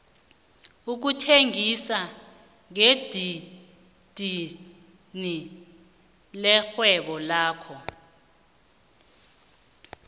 ukuthengisa ngedidini lirhwebo nakho